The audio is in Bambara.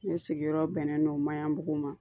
Ne sigiyɔrɔ bɛnnen don mayanbugu ma